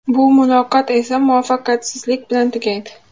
Bu muloqot esa muvaffaqiyatsizlik bilan tugaydi.